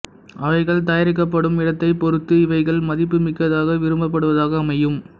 அவைகள் தயாரிக்கப் படும் இடத்தைப் பொறுத்து இவைகள் மதிப்பு மிக்கதாக விரும்பப் படுவதாக அமையும்